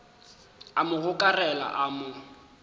a mo gokarela a mo